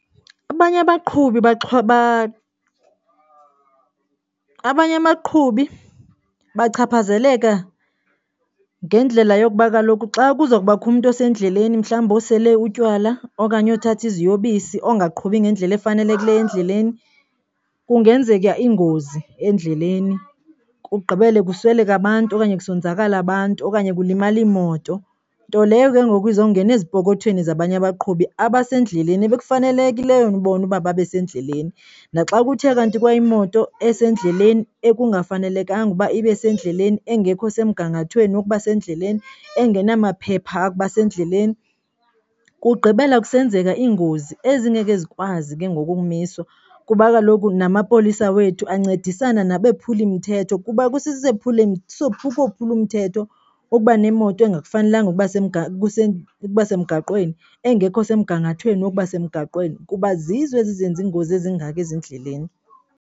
Abanye abaqhubi abanye abaqhubi bachaphazeleka ngeendlela yokuba kaloku xa kuza kubakho umntu osendleleni mhlawumbi osele utywala okanye othatha iziyobisi ongaqhubi ngendlela efanelekileyo endleleni, kungenzeka iingozi endleleni kugqibele kusweleke abantu okanye kusonzakala abantu okanye kulimale imoto. Nto leyo ke ngoku izawungena ezipokothweni zabanye abaqhubi abasendleleni ekufanelekileyo bona ukuba babe sendleleni. Naxa kuthe kanti kwayimoto esendleleni ekungafanelekanga uba ibe sendleleni engekho semgangathweni wokuba sendleleni engena maphepha okuba sendleleni, kugqibela kusenzeka iingozi ezingeke zikwazi ke ngoku ukumiswa kuba kaloku namapolisa wethu ancedisana nabaphulimthetho, kuba kukophula umthetho ukuba nemoto engakufanelenga uba semgaqweni engekho semgangathweni wokuba semgaqweni kuba zizo ezi ezenza iingozi ezingaka ezindleleni.